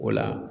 O la